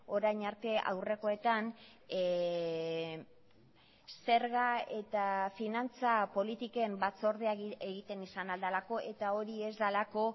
orain arte aurrekoetan zerga eta finantza politiken batzordea egiten izan al delako eta hori ez delako